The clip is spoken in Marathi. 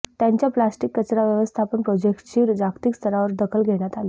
त्यांचा प्लॅस्टिक कचरा व्यवस्थापन प्रोजेक्ट्स ची जागतिक स्तरावर दखल घेण्यात आली